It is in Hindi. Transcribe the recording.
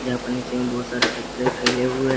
यहां पर नीचे में बहुत सारे फैले हुए--